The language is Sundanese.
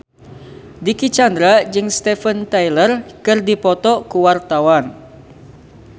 Dicky Chandra jeung Steven Tyler keur dipoto ku wartawan